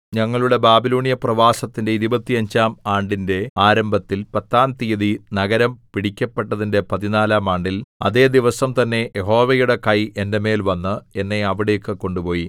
ഞങ്ങളുടെ ബാബിലോന്യ പ്രവാസത്തിന്റെ ഇരുപത്തഞ്ചാം ആണ്ടിന്റെ ആരംഭത്തിൽ പത്താം തീയതി നഗരം പിടിക്കപ്പെട്ടതിന്റെ പതിനാലാം ആണ്ടിൽ അതേ ദിവസം തന്നെ യഹോവയുടെ കൈ എന്റെ മേൽ വന്ന് എന്നെ അവിടേക്കു കൊണ്ടുപോയി